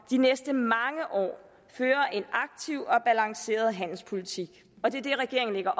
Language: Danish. de næste mange år føre en aktiv og balanceret handelspolitik og det er det regeringen lægger